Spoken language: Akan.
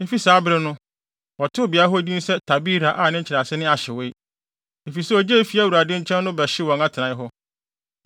Efi saa bere no, wɔtoo beae hɔ din se Tabera a ne nkyerɛase ne “Ahyewee,” efisɛ ogya a efi Awurade nkyɛn no hyew wɔn atenae hɔ.